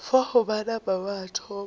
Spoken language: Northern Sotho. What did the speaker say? fao ba napa ba thoma